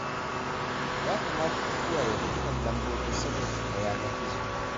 Ya kamata ku kiyaye dukkan lambobin sirrinku na yanar gizo